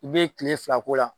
I be kile fila k'o la